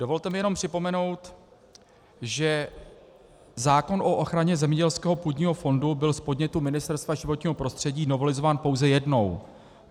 Dovolte mi jenom připomenout, že zákon o ochraně zemědělského půdního fondu byl z podnětu Ministerstva životního prostředí novelizován pouze jednou.